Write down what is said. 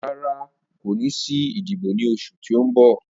Rara, ko ni si idibo ni oṣu ti n bọ.